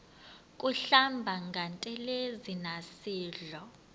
kuhlamba ngantelezi nasidlo